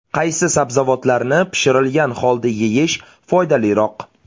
Qaysi sabzavotlarni pishirilgan holda yeyish foydaliroq?.